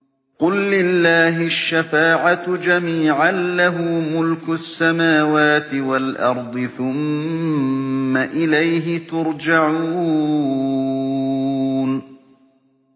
قُل لِّلَّهِ الشَّفَاعَةُ جَمِيعًا ۖ لَّهُ مُلْكُ السَّمَاوَاتِ وَالْأَرْضِ ۖ ثُمَّ إِلَيْهِ تُرْجَعُونَ